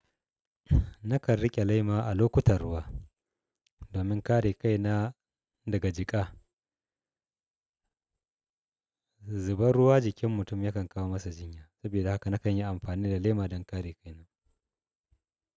Nakan riƙe lema a lokutan ruwa domin kare kaina daga jika. Zubar ruwa jikin mutum yakan kawo masa jinya. Saboda haka nakan yi amfani da lema don kare kaina.